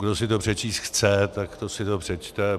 Kdo si to přečíst chce, tak si to přečte.